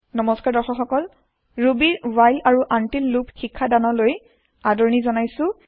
নমস্কাৰ দৰ্শক সকল ৰুবি ৰ ৱ্হাইল আৰু আনটিল লুপ শিক্ষাদান লৈ আদৰণি জনালো